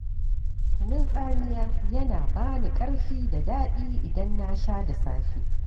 Kunun tsamiya yana ba ni ƙarfi da daɗi idan na sha da safe.